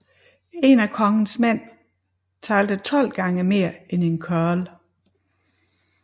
En af konges mænd talte 12 gange mere end en churl